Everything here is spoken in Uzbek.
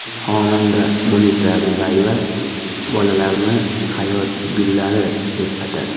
Xonanda Munisa Rizayeva bolalarni hayot gullari, deb atadi.